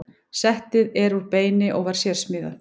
Settið er úr beini og var sérsmíðað.